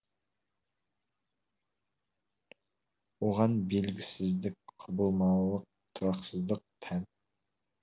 оған белгісіздік құбылмалылық тұрақсыздық тән